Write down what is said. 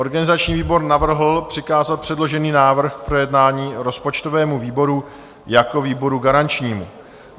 Organizační výbor navrhl přikázat předložený návrh k projednání rozpočtovému výboru jako výboru garančnímu.